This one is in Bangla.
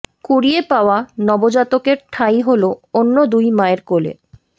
কুড়িয়ে পাওয়া নবজাতকের ঠাঁই হলো অন্য দুই মায়ের কোলে